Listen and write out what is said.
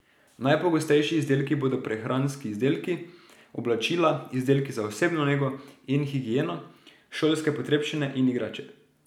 Najpogostejši izdelki bodo prehranski izdelki, oblačila, izdelki za osebno nego in higieno, šolske potrebščine in igrače.